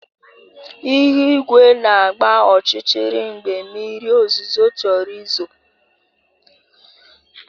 Ihu igwe na-agba ọchịchịrị mgbe mmiri ozuzo chọrọ izo